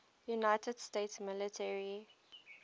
united states military